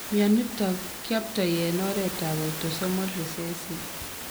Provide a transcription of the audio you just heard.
Myonitok kiyoptoi en oret ab autosomal recessive